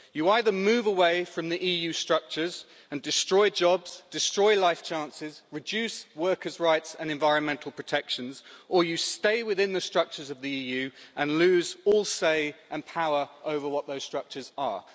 You either move away from the EU structures and destroy jobs, destroy life chances, reduce workers' rights and environmental protections or you stay within the structures of the EU and lose all say and power over what those structures are.